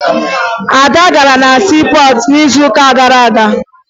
Ada gara na siipọọtụ n'izuụka gara aga